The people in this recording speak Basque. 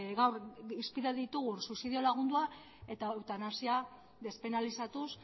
gaur izpide ditugun suizidio lagundua eta eutanasia despenalizatuz